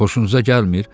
Xoşunuza gəlmir?